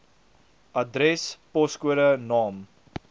adres poskode naam